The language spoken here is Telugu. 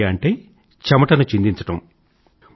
ఫిట్ ఇండియా అంటే చెమటను చిందించడం